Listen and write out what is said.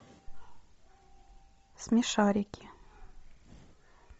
смешарики